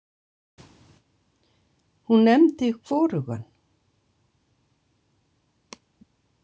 Hún nefndi hvorugan.